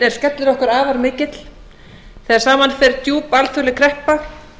er skellur okkar afar mikill þegar saman fer djúp alþjóðleg kreppa